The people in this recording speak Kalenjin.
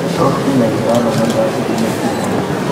Tos kinyaitano myondap Klinefelter?